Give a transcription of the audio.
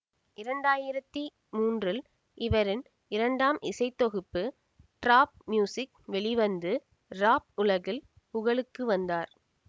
இரண்டாயிரத்தி மமூன்றில் இவரின் இரண்டாம் இசைத்தொகுப்பு ட்ராப் மியூசிக் வெளிவந்து ராப் உலகில் புகழுக்கு வந்தார்